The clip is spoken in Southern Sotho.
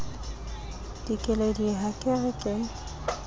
dikeledi ha ke re ke